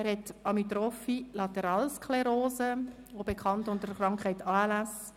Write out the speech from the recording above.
Er leidet an amyotropher Lateralsklerose, auch bekannt unter der Abkürzung ALS.